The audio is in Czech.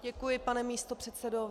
Děkuji, pane místopředsedo.